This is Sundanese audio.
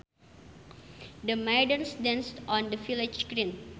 The maidens danced on the village green